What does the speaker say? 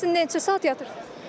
Gün ərzində neçə saat yatırsız?